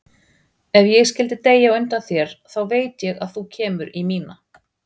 Ef ég skyldi deyja á undan þér þá veit ég að þú kemur í mína.